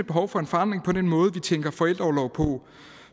behov for en forandring i den måde vi tænker forældreorlov på